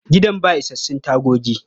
Gidan ba isassun tagogi.